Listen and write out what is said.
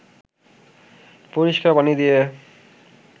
পরিষ্কার পানি দিয়ে